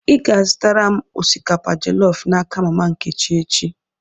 Ị ga-azụtara m osikapa jelọf n'aka mama Nkechi echi!